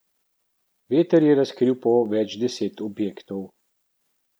Veter je razkril po več deset objektov.